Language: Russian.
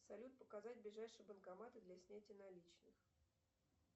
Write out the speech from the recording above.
салют показать ближайшие банкоматы для снятия наличных